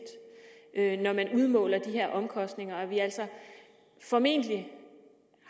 når man udmåler de her omkostninger og at vi altså formentlig